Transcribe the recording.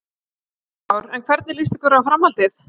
Kristján Már: En hvernig líst ykkur á framhaldið?